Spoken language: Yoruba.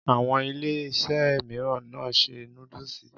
Àwọn Iléeṣẹ́ mìíràn náà ṣe núdúsì